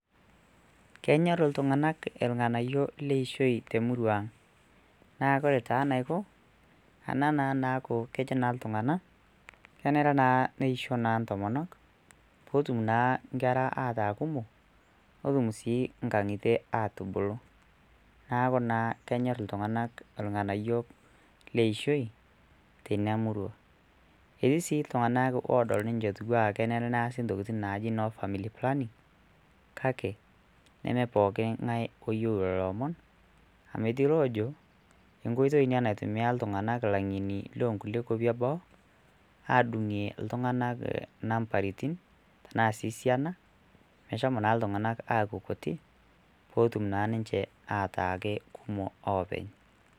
kenyorr iltuung'anak elng'anayio leishoi temurua ang naa lore taa naiko ana naa naaku kejo naa iltung'ana kenere naa neisho naa intomonok potum naa nkera ataa kumok notum sii inkang'itie atubulu naaku naa kenyorr iltung'anak ilng'anayio leishoi teina murua, etii sii iltung'anak odol ninche etiwua kenere neasi intokitin naji ino family planning kake neme poking'ae oyieu lolo omon ametii loojo enkoitoi ina naitimia iltung'anak ilang'eni lonkulie kuapi eboo adung'ie iltung'anak nambaritin tenaa sii siana meshomo naa iltung'anak aaku kutik potum naa ninche atake kumok openy.